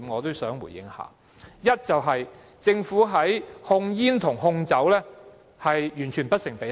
第一，是政府的控煙和控酒工作完全不成比例。